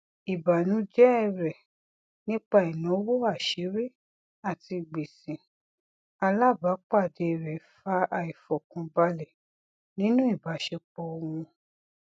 ìbànújẹ rẹ nípa ináwó aṣírí àti gbèsè alábàápàdé rẹ fa àìfọkànbalẹ nínú ìbáṣepọ wọn